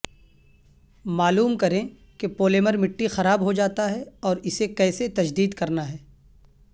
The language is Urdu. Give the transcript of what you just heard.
معلوم کریں کہ پولیمر مٹی خراب ہوجاتا ہے اور اسے کیسے تجدید کرنا ہے